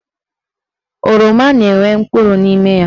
Oroma na-enwe mkpụrụ n'ime ya.